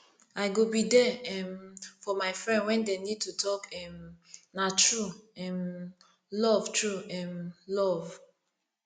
i go be there um for my friend wen dem need to talk um na true um love true um love